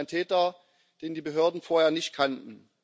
Das ist ein Täter, den die Behörden vorher nicht kannten.